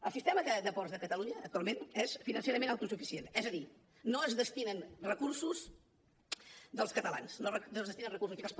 el sistema de ports de catalunya actualment és financerament autosuficient és a dir no s’hi destinen recursos dels catalans no s’hi destinen recursos fiscals